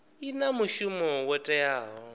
i na mushumo wo teaho